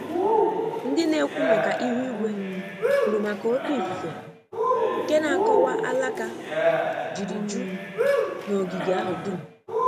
Ndị na-ekwu maka ihu igwe kwuru maka óké ifufe, nke na-akọwa alaka jiri ju n' ogige ahụ dum